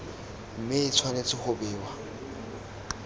mme e tshwanetse go bewa